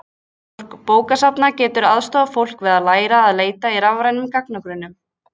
Starfsfólk bókasafna getur aðstoðað fólk við að læra að leita í rafrænum gagnagrunnum.